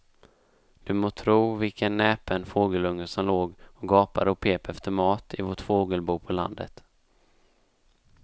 Du må tro vilken näpen fågelunge som låg och gapade och pep efter mat i vårt fågelbo på landet.